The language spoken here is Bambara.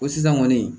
Ko sisan kɔni